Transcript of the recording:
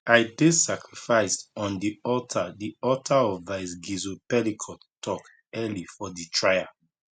i dey sacrificed on di altar di altar of vice gisle pelicot tok early for di trial